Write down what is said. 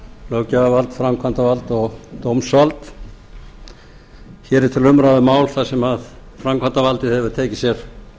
löggjafarvald framkvæmdarvald og dómsvald hér er til umræðu mál sem framkvæmdavaldið hefur tekið sér